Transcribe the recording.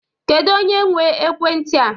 Kedụ onye nwe ekwenti a?